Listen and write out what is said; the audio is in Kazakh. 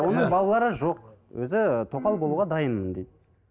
оның балалары жоқ өзі тоқал болуға дайынмын дейді